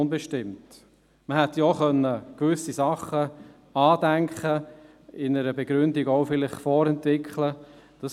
Man hätte gewisse Dinge andenken und mit einer Begründung vorentwickeln können.